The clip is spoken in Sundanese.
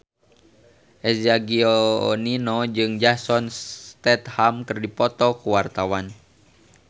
Eza Gionino jeung Jason Statham keur dipoto ku wartawan